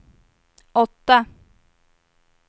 åtta